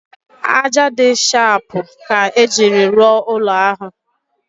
Ájá dị shapụ ka ejiri rụọ ụlọ ahụ